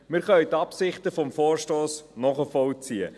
Wir können die Absichten des Vorstosses nachvollziehen.